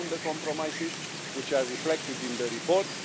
We found the compromises, which are reflected in the report.